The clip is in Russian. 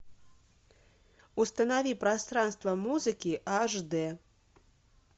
установи пространство музыки аш д